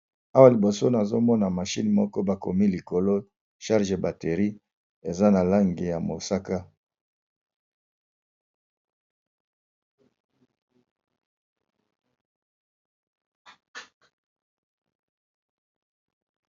awa liboso nazomona mashine moko bakomi likolo charge a batterie eza na langi ya mosaka